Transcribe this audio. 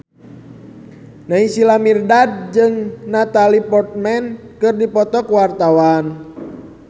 Naysila Mirdad jeung Natalie Portman keur dipoto ku wartawan